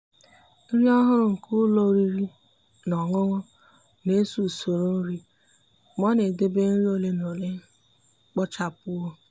nrí ọ́hụ́rụ́ nke ụ́lọ́ oriri na ọṅụṅụ nà-èso usoro nri mà ọ́ nà-edèbè nri ole na ole kpochapụwo.